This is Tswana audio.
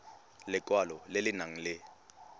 lekwalo le le nang le